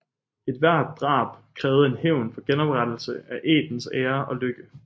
Ethvert drab krævede en hævn for genoprettelse af ættens ære og lykke